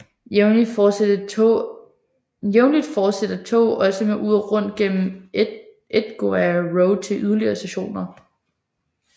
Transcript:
Jævnligt fortsætter tog også med uret rundt gennem Edgware Road til yderligere station